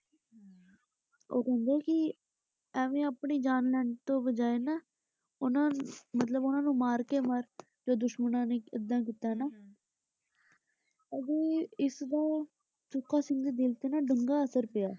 ਉਹ ਕਹਿੰਦੇ ਕਿ ਐਵੇ ਆਪਣੀ ਜਾਨ ਲੈਣ ਦੀ ਬਜਾਏ ਨਾ ਉਨ੍ਹਾਂ ਮਤਲਬ ਉਨ੍ਹਾਂ ਨੂੰ ਮਾਰਕੇ ਕੇ ਮਰ, ਜੇ ਦੁਸ਼ਮਣਾਂ ਨੇ ਐਦਾ ਕੀਤਾ ਨਾ ਅਬ ਇਸ ਦਾ ਸੁੱਖਾ ਸਿੰਘ ਦੇ ਦਿਲ ਤੇ ਨਾ ਡੂੰਘਾ ਅਸਰ ਪਿਆ।